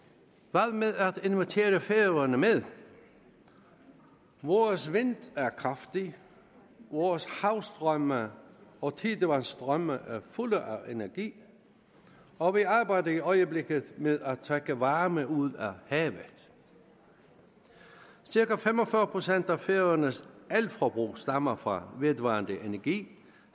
hvad med at invitere færøerne med vores vind er kraftig vores havstrømme og tidevandsstrømme er fulde af energi og vi arbejder i øjeblikket med at trække varme ud af havet cirka fem og fyrre procent af færøernes elforbrug stammer fra vedvarende energi